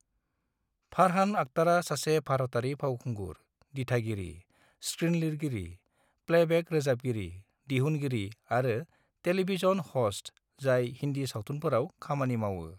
फारहान आख्तारा सासे भारतारि फावखुंगुर, दिथागिरि, स्कृनलिरगिरि, प्लेबेक रोजाबगिरि, दिहुनगिरि आरो टेलीभिजन ह'स्ट, जाय हिंदी सावथुनफोराव खामानि मावो।